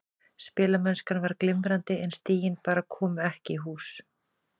Spilamennskan var glimrandi en stigin bara komu ekki í hús.